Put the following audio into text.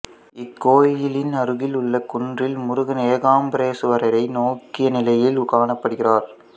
இக்கோயிலின் அருகிலுள்ள குன்றில் முருகன் ஏகாம்பரேசுவரை நோக்கிய நிலையில் காணப்படுகிறார்